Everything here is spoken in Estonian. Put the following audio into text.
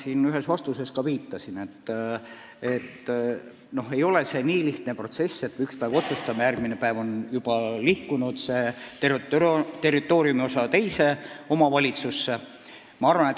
Ma ühes vastuses tõesti viitasin, et see protsess ei ole nii lihtne, et üks päev otsustame ja järgmine päev on juba see territooriumiosa teise omavalitsusse liikunud.